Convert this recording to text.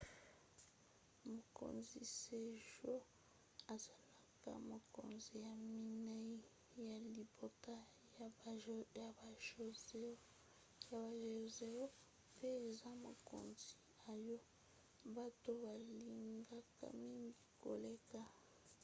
mokonzi sejong azalaka mokonzi ya minei ya libota ya ba joseon pe aza mokonzi oyo bato balingaka mingi koleka